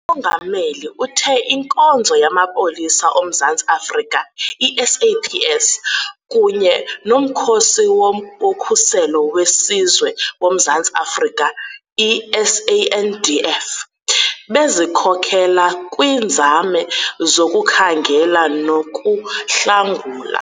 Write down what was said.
UMongameli uthe iNkonzo yaMapolisa oMzantsi Afrika, i-SAPS, kunye noMkhosi woKhuselo weSizwe woMzantsi Afrika, i-SANDF, bezikhokela kwiinzame zokukhangela nokuhlangula.